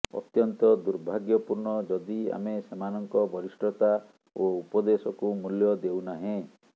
ଅତ୍ୟନ୍ତ ଦୂର୍ଭାଗ୍ୟପୂର୍ଣ୍ଣ ଯଦି ଆମେ ସେମାନଙ୍କ ବରିଷ୍ଠତା ଓ ଉପଦେଶକୁ ମୂଲ୍ୟ ଦେଉନାହେଁ